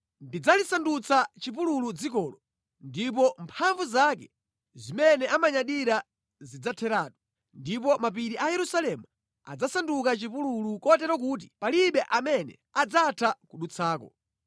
Ndidzalisandutsa chipululu dzikolo, ndipo mphamvu zake zimene amanyadira zidzatheratu, ndipo mapiri a Yerusalemu adzasanduka chipululu, kotero kuti palibe amene adzatha kudutsako.